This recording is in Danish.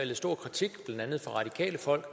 stor kritik blandt andet fra radikale folk